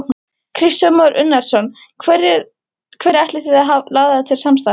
Kristján Már Unnarsson: Hverja ætlið þið að laða til samstarfs?